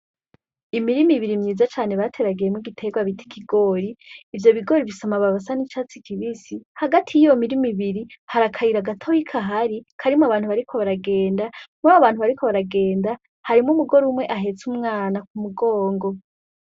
Imirima ibiri myiza cane bateragiyemwo igiterwa bitikigori ivyo bigori bisa amababasa n'icatsi kibisi hagati y'iyo mirima ibiri harakayira agatoyika hari karimwo abantu bariko baragenda mwabo abantu bariko baragenda harimwo umugore umwe ahetse umwana ku mugongo.